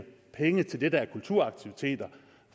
penge til det der er kulturaktiviteter